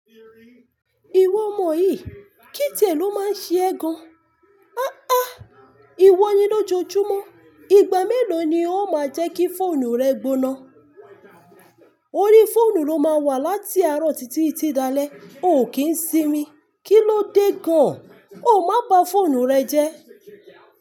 Ìwọ mọ yìí, kí tie lo máa n ṣe ẹ gan. Ahhan! Ìwọ ni lójọjúmọ́, ìgbà mélòó ni ó máa jẹ́ kí fóònù rẹ gbóná? Orí fóònù ló máa wà láti àárọ̀ títí titi di alé, ò kí ń sinmi. Kí ló dé gan an? O má ba fóònù rẹ jẹ́.